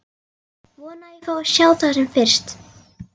Vona að ég fái að sjá það sem fyrst.